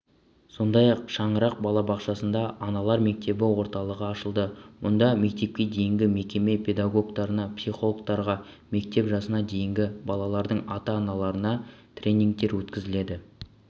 сондай-ақ шаңырақ балабақшасында аналар мектебі орталығы ашылды мұнда мектепке дейінгі мекеме педагогтарына психологтарға мектеп жасына дейінгі балалардың ата-аналарына тренингтер өткізіледі